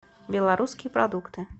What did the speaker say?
белорусские продукты